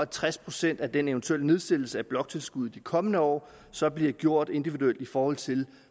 tres procent af den eventuelle nedsættelse af bloktilskuddet de kommende år så bliver gjort individuelt i forhold til